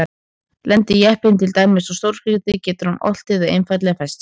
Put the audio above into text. Lendi jeppinn til dæmis á stórgrýti getur hann oltið eða einfaldlega fest sig.